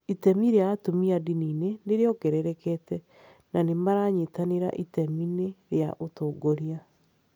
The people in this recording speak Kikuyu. Itemi rĩa atumia ndini-inĩ nĩ rĩongererekete, na nĩ maranyita itemi rĩa ũtongoria.